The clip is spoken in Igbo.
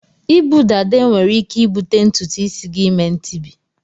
Ibu dada enwere ike ibute ntụtụ isi gi ime ntibi.